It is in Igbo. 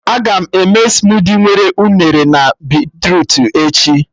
Agam eme smudi nwere unere na beetrutu echi